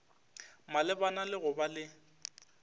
malebana le go ba le